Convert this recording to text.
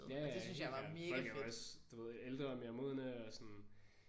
Ja ja ja helt klart. Folk er jo også du ved ældre mere modne og sådan